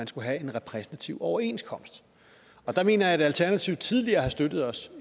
skulle være en repræsentativ overenskomst og der mener jeg at alternativet tidligere har støttet os